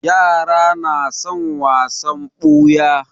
Yara na son wasan ɓuya.